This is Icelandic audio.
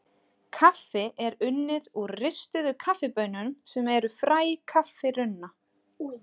Kaffi er unnið úr ristuðum kaffibaunum sem eru fræ kaffirunna.